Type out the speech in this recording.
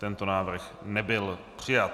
Tento návrh nebyl přijat.